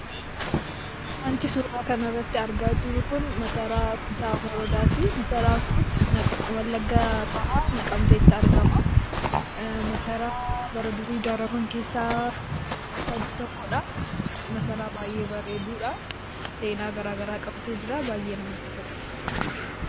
Waanti suuraa kanarratti argaa jirru kun masaraa Kumsaa Morodaati. Masaraa kun Wallagga Bahaa, Naqqamteetti argama. Masaraa bara durii ijaaraman keessaa isa tokkodha; masaraa baay'ee bareedudha! Seenaa garaa garaa qabatee jira. Baay'ee namatti tola!